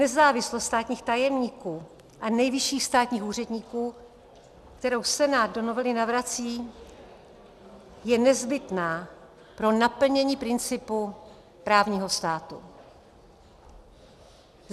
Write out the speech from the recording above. Nezávislost státních tajemníků a nejvyšších státních úředníků, kterou Senát do novely navrací, je nezbytná pro naplnění principu právního státu.